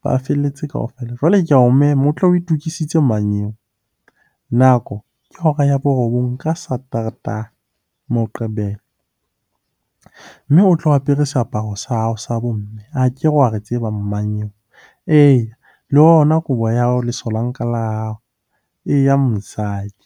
ba felletse kaofela. Jwale ke ao mema, o tle o itokisitse mmanyeo. Nako ke hora ya borobong ka Sateretaha, Moqebelo. Mme o tlo apere seaparo sa hao sa bomme, akere wa re tseba mmanyeo. Eya le yona kobo ya hao, lesolanka la hao. Eya mosadi.